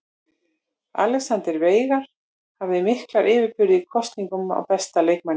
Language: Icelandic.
Alexander Veigar hafði mikla yfirburði í kosningu á besta leikmanninum.